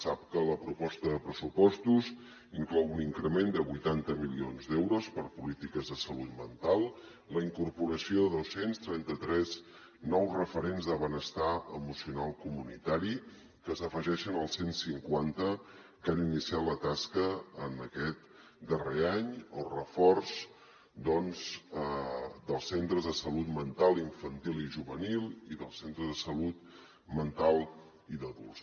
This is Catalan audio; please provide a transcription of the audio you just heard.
sap que la proposta de pressupostos inclou un increment de vuitanta milions d’euros per a polítiques de salut mental la incorporació de dos cents i trenta tres nous referents de benestar emocional comunitari que s’afegeixen als cent cinquanta que han iniciat la tasca en aquest darrer any el reforç doncs dels centres de salut mental infantil i juvenil i dels centres de salut mental i d’adults